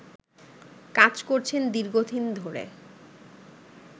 কাজ করছেন দীর্ঘদিন ধরে